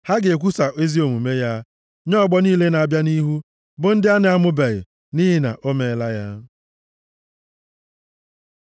Ha ga-ekwusa ezi omume ya nye ọgbọ niile na-abịa nʼihu, bụ ndị a na-amụbeghị nʼihi na o meela ya.